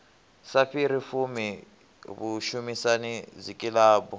sa fhiri fumi vhushumisani dzikilabu